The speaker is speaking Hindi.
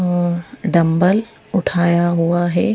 अ डंबल उठाया हुआ है।